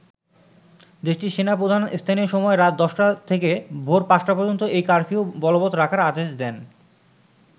দেশটির সেনা প্রধান স্থানীয় সময় রাত ১০ থেকে ভোর পাঁচটা পর্যন্ত এই কারফিউ বলবত রাখার আদেশ দেন।